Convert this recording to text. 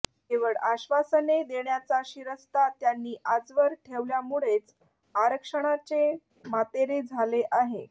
केवळ आश्वासने देण्याचा शिरस्ता त्यांनी आजवर ठेवल्यामुळेच आरक्षणाचे मातेरे झाले आहे